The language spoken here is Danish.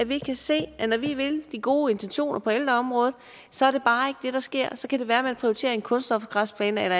vi kan se at når vi vil de gode intentioner på ældreområdet så er det bare ikke det der sker så kan det være at man prioriterer en kunststofgræsplæne eller